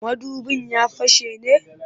Mudubin ya fashe ne?